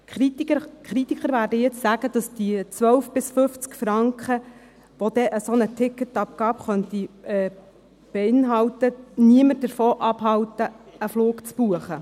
Die Kritiker werden nun sagen, dass die 12 bis 50 Franken, die so eine Ticketabgabe beinhalten könnte, niemanden davon abhalten werden, einen Flug zu buchen.